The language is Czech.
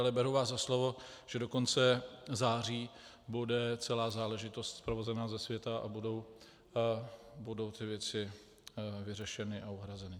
Ale beru vás za slovo, že do konce září bude celá záležitost sprovozena ze světa a budou ty věci vyřešeny a uhrazeny.